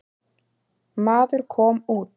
Maður kom út.